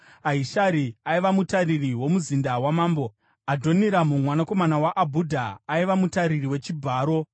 Ahishari aiva mutariri womuzinda wamambo; Adhoniramu, mwanakomana waAbhudha aiva mutariri wechibharo.